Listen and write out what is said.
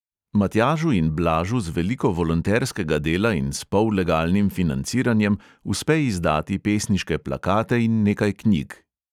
Matjažu in blažu z veliko volonterskega dela in s pollegalnim financiranjem uspe izdati pesniške plakate in nekaj knjig.